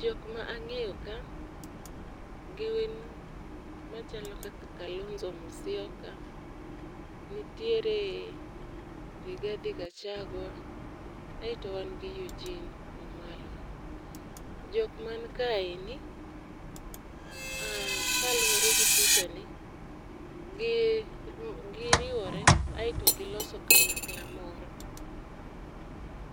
Jok ma ang'eyo ka gin machalo kaka Kalonzo Musyoka, nitiere Rigathi Gachagua, aeto wan gi Eugene Wamalwa. Jok man kaeni ah kaluwore di pichani gi giriwore aeto giloso kanyakla moro.